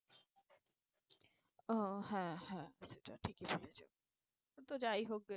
আহ হ্যাঁ হ্যাঁ সেটা ঠিকই বলেছো তো যাই হোক গে